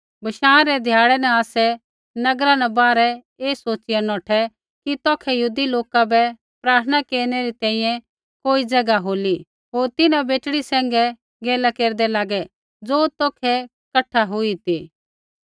बशाँ रै ध्याड़ै न आसै नगरा बाहरै ऐ सोच़िया नौठै कि तौखै यहूदी लोका बै प्रार्थना केरनै री तैंईंयैं कोई ज़ैगा होली होर तिन्हां बेटड़ी सैंघै गैला केरदै लागै ज़ो तौखै कठा हुई ती